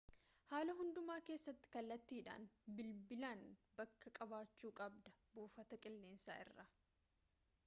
haala hundumaa keessatti kallatiidhan bilbilaan bakka qabaachu qabda buufata qilleensaa irraa